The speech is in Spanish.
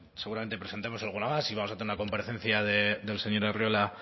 presentemos alguna más y vamos a tener una comparecencia del señor arriola